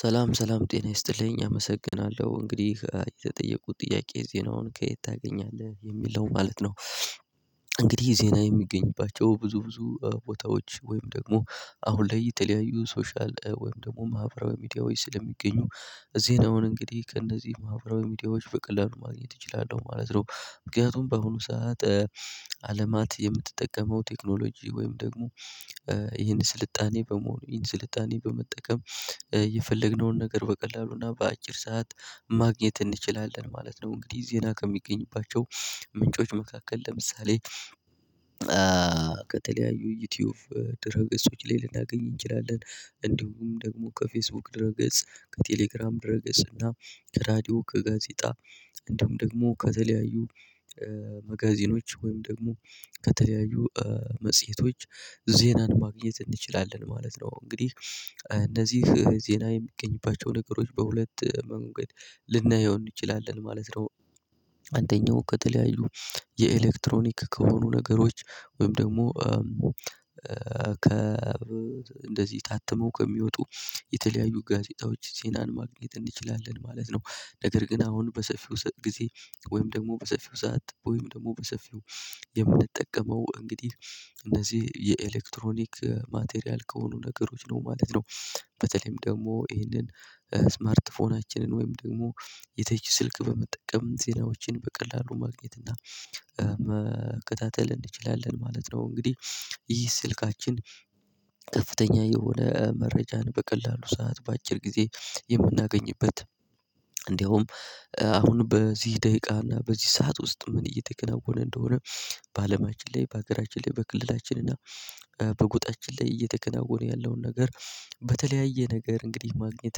ሰላም ሰላም ጤና ይስጥልኝ አመሰግናለሁ እንግዲህ የተጠየኩት ጥያቄ ዜናውን ከየት ታገኛለህ የሚለው ማለት ነው። እንግዲህ ዜና የሚገኝባቸው ብዙ ብዙ ቦታዎች ወይም ደግሞ አሁን ላይ የተለያዩ ሶሻል ወይም ደግሞ ማህበራዊ ሚዲያዎች ስለሚገኙ እዚህ ነው እንግዲህ ከእነዚህ ማህበራዊ ሚዲያዎች በቀላሉ ማግኘት እችላለሁ ማለት ነው። ምክንያቱም በአሁኑ ሰዓት አለማት የምትጠቀመው ቴክኖሎጂ ወይም ደግሞ ይሄን ስልጣኔ በመሆኑ ይሄን ስልጣኔ በመጠቀም የፈለግነውን ነገር በቀላሉና በአጭር ሰዓት ማግኘት እንችላለን ማለት ነው። እንግዲህ ዜና ከሚገኝባቸው ምንጮች መካከል ለምሳሌ ከተለያዩ ዩቲዩብ ድረገፆች ላይ ልናገኝ እንችላለን እንዲሁም ደግሞ ከፌስቡክ ድረገጽ ከቴሌግራም ድረገጽ እና ከራዲዮ ከጋዜጣ እንድሁም ደግሞ ከተለያዩ መጋዚኖች ወይም ደግሞ ከተለያዩ መጽሄቶች ዜናን ማግኘት እንችላለን ማለት ነው። እንግዲህ እነዚህ ዜና የሚገኝባቸው ነገሮች በሁለት መንገድ ልናየው እንችላለን ማለት ነው። አንደኛው ከተለያዩ የኤሌክትሮኒክ ከሆኑ ነገሮች ወይም ደግሞ ከ ታትመው ከሚወጡ የተለያዩ ጋዜጣዎች ዜናን ማግኘት እንችላለን ማለት ነው። ነገር ግን አሁን በሰፊው ጊዜ ወይም ደግሞ በሰፊው ሰዓት ወይም ደግሞ በሰፊው የምንጠቀመው እንግዲህ እነዚህ የኤሌክትሮኒክ ማቴሪያል ከሆኑ ነገሮች ነው ማለት ነው። በተለይም ደግሞ ይህንን ስማርት ስልካችንን ወይም ደግሞ የተች ስልክ በመጠቀም ዜናዎችን በቀላሉ ማግኘት እና መከታተል እንችላለን ማለት ነው። እንግዲህ ይህ ስልካችን ከፍተኛ የሆነ መረጃን በቀላሉ ሰዓት በአጭር ጊዜ የምናገኝበት እንድሁም አሁን በዚህ ደቂቃ እና በዚህ ሰዓት ውስጥ ምን እየተከናወነ እንደሆነ። በአለማችን ላይ በሀገራችን ላይ በክልላችን እና በጎጣችን ላይ እየተከናወነ ያለውን ነገር በተለያየ ነገር እንግዲህ ማግኘት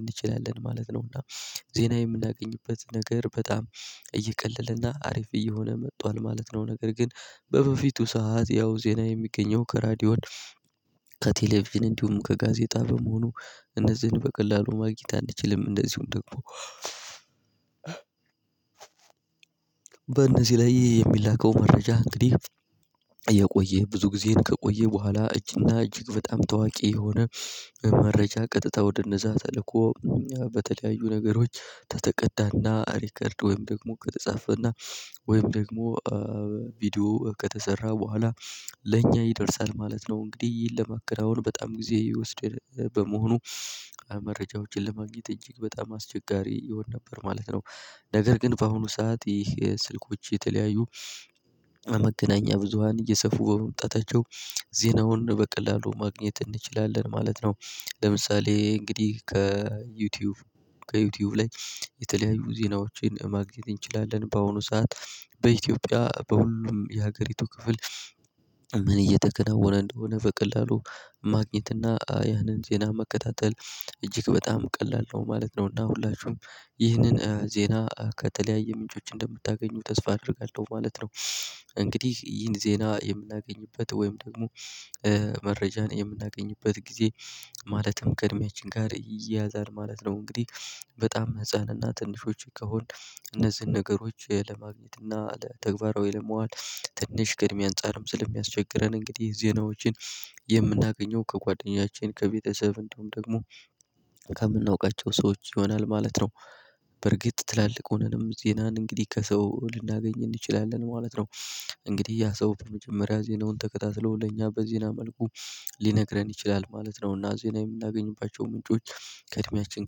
እንችላለን ማለት ነው እና ዜና የምናገኝበት ነገር በጣም እየቀለለና አሪፍ እየሆነ መጥቷል ማለት ነው። ነገር ግን በበፊቱ ሰዓት ያው ዜና የሚገኘው ከ ሬዲዮን ከቴሌቪዥን እንዲሁም ከጋዜጣ በመሆኑ እነዚህን በቀላሉ ማግኘት አንችልም እንደዚሁም ደግሞ። በእነዚህ ላይ የሚላከው መረጃ እንግዲህ የቆየ ብዙ ጊዜን ከቆየ በኋላ እጅግና እጅግ በጣም ታዋቂ የሆነ መረጃ ቀጥታ ወደ እነዛ ተልኮ በተለያዩ ነገሮች ከተቀዳና ሪከርድ ወይም ደግሞ ከተጻፈና ወይም ደግሞ ቪዲዮ ከተሰራ በኋላ ለእኛ ይደርሳል ማለት ነው። እንግዲህ ይህን ለማከናወን በጣም ጊዜ ይወስድ በመሆኑ መረጃዎችን ለማግኘት እጅግ በጣም አስቸጋሪ ይሆን ነበር ማለት ነው። ነገር ግን በአሁኑ ሰዓት ይህ ስልኮች የተለያዩ መገናኛ ብዙሃን እየሰፉ በመምጣታቸው ዜናውን በቀላሉ ማግኘት እንችላለን ማለት ነው። ለምሳሌ እንግዲህ ከዩቲዩብ ከዩቲዩብ ላይ የተለያዩ ዜናዎችን ማግኘት እንችላለን በአሁኑ ሰዓት በኢትዮጵያ በሁሉም የሀገሪቱ ክፍል ምን እየተከናወነ እንደሆነ በቀላሉ ማግኘትና ያንን ዜና መከታተል እጅግ በጣም ቀላል ነው ማለት ነው። እና ሁላችሁም ይህንን ዜና ከተለያዩ ምንጮች እንደምታገኙ ተስፋ አደርጋለሁ ማለት ነው። እንግዲህ ይህን ዜና የምናገኝበት ወይም ደግሞ መረጃን የምናገኝበት ጊዜ ማለትም ከእድሜያችን ጋር ይያያዛል ማለት ነው። እንግዲህ በጣም ህፃን እና ትንሾች ከሆን እነዚህን ነገሮች ለማግኘት እና ለተግባራዊ ለማዋል ትንሽ ከዕድሜ አንፃርም ስለሚያስቸግረን እንግዲህ ዜናዎችን የምናገኘው ከጓደኛችን ከቤተሰብ እንድሁም ደግሞ ከምናውቃቸው ሰዎች ይሆናል ማለት ነው። በእርግጥ ትላልቅ ሆነንም ዜናን እንግዲህ ከሰው ልናገኝ እንችላለን ማለት ነው። እንግዲህ ያ ሰው በመጀመሪያ ዜናውን ተከታትሎ ለኛ በዜና መልኩ ሊነግረን ይችላል ማለት ነው። እና ዜና የምናገኝባቸው ምንጮች ከእድሜያችን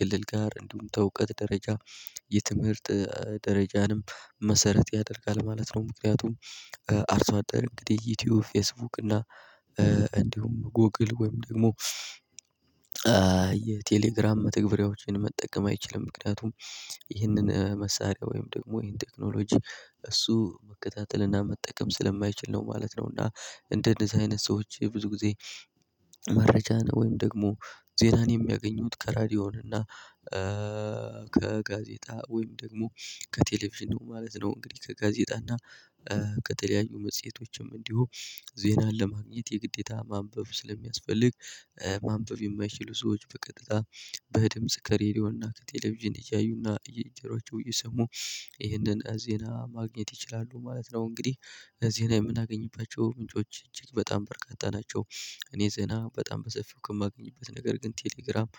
ክልል ጋር እንዲሁም ከእውቀት ደረጃ የትምህርት ደረጃንም መሰረት ያደርጋል ማለት ነው። ምክንያቱም አርሶ አደር እንግዲህ ዩቲዩብ ፌስቡክ እና እንዲሁም ጎግል ወይም ደግሞ የቴሌግራም መተግበሪያዎችን መጠቀም አይችልም ምክንያቱም ይህንን መሳሪያ ወይም ደግሞ ይህን ቴክኖሎጂ እሱ መከታተልና መጠቀም ስለማይችል ነው ማለት ነው። እና እንደዚህ አይነት ሰዎች ብዙ ጊዜ መረጃን ወይም ደግሞ ዜናን የሚያገኙት ከሬዲዮን እና ከጋዜጣ ወይም ደግሞ ከቴሌቪዥን ነው ማለት ነው። እንግዲህ ከጋዜጣና ከተለያዩ መጽሄቶችም እንዲሁ ዜናን ለማግኘት የግዴታ ማንበብ ስለሚያስፈልግ ማንበብ የማይችሉ ሰዎች በቀጥታ በድምጽ ከሬዲዮና ከቴሌቪዥን እያዩና በጆሯቸው እየሰሙ ይህንን ዜና ማግኘት ይችላሉ ማለት ነው። እንግዲህ ዜና የምናገኝባቸው ምንጮች እጅግ በጣም በርካት ናቸው። እኔ ዜና በጣም በሰፊው ከማገኝበት ነገር ግን ቴሌግራም